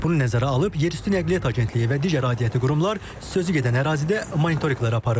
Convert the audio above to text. Bunu nəzərə alıb yerüstü Nəqliyyat agentliyi və digər aidiyyatı qurumlar sözü gedən ərazidə monitorinqlər aparıb.